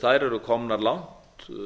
þær eru komnar langt